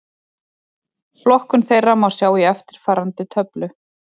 Flokkun þeirra má sjá í eftirfarandi töflu: